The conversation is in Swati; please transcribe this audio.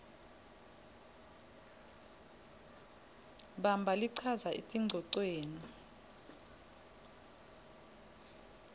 bamba lichaza etingcocweni